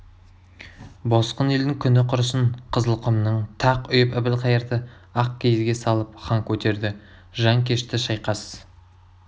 босқын елдің күні құрысын қызылқұмнан тақ үйіп әбілхайырды ақ киізге салып хан көтерді жан кешті шайқас